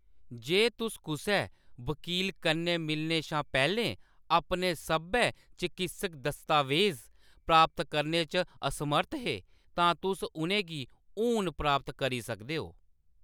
जे तुस कुसै वकील कन्नै मिलने शा पैह्‌‌‌लें अपने सब्भै चकित्सक दस्तावेज़ प्राप्त करने च असमर्थ हे, तां तुस उʼनें गी हून प्राप्त करी सकदे हो।